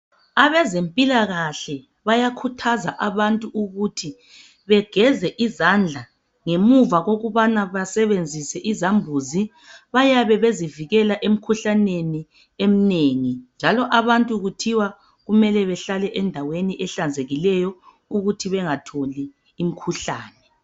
Abezempilakahle bayakhuthaza abantu ukuthi begeze izandla ngemuva kokubana basebenzise izambuzi bayabe bezivikela emkhuhlaneni eminengi njalo abantu kuthiwa kumele behlale endaweni ehlanzekileyo ukuthi bengatholi imkhuhlane